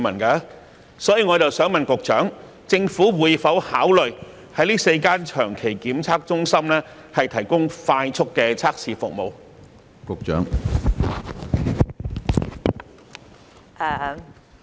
因此，我想問局長，政府會否考慮在這4個長期的檢測中心提供快速檢測服務？